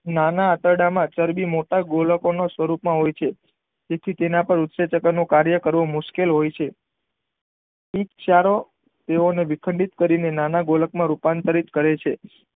નાના આંતરડામાં ચરબી મોટા ગોલકો ના સ્વરૂપે હોય છે તેથી તેના પર ઉસેચકો નું કાર્ય કરવું મુશકેલ હોય છે થી ક્ષારો તેઓ ને વિખંડિત કરી નાના ગોલક માં રૂપાંતરિત કરે છે.